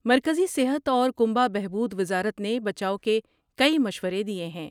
مرکزی صحت اور کنبہ بہبود وزارت نے بچاؤ کے کئی مشورے دیئے ہیں ۔